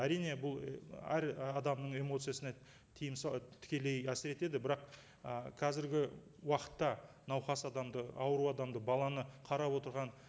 әрине бұл і әр адамның эмоциясына тікелей әсер етеді бірақ і қазіргі уақытта науқас адамды ауру адамды баланы қарап отырған